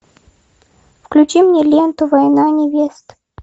включи мне ленту война невест